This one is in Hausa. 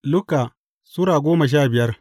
Luka Sura goma sha biyar